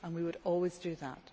We would always do that.